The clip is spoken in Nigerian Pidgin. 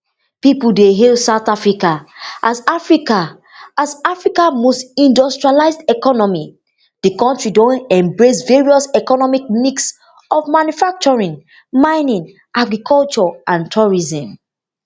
pipo dey hail south africa as africa as africa most industrialised economy di kontri don embrace various economic mix of manufacturing mining agriculture and tourism